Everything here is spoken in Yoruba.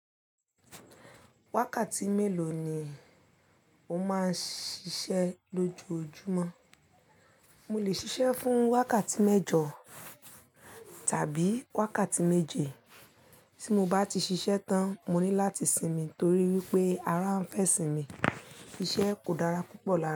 Wákàtí mélòó ni o máa ń ṣiṣẹ́ lójoojúmọ́? Mo lè ṣiṣẹ́ fún wákàtí mẹ́jọ tàbí wákàtí méje, tí mo bá ti ṣiṣẹ́ tán, mo ní láti sinmi torí wípé ara ń fẹ́ sinmi. Iṣẹ́ kò dára púpọ̀ lára.